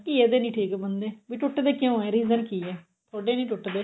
ਘੀਏ ਦੇ ਨਹੀਂ ਠੀਕ ਬਣਦੇ ਵੀ ਟੁੱਟਦੇ ਕਿਉਂ ਏ reason ਕੀ ਏ ਥੋਡੇ ਨੀ ਟੁੱਟਦੇ